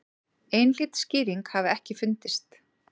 Einhlít skýring hafi ekki fundist.